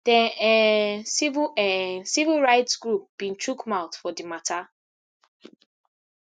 den um civil um civil rights groups bin chook mouth for di matter